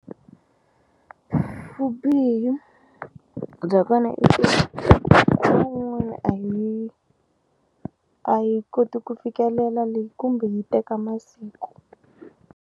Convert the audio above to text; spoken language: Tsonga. Vubihi bya kona i ku i ku a yi a yi koti ku fikelela le kumbe yi teka masiku.